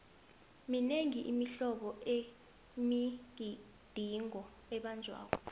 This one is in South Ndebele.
minengi imihlobo yemigidingo ebanjwako